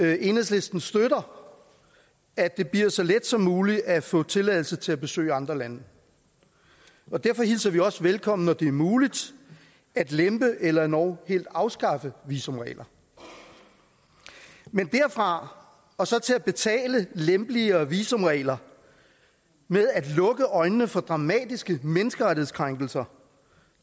at enhedslisten støtter at det bliver så let som muligt at få tilladelse til at besøge andre lande og derfor hilser vi det også velkomment når det er muligt at lempe eller endog helt at afskaffe visumregler men derfra og så til at betale lempeligere visumregler med at lukke øjnene for dramatiske menneskerettighedskrænkelser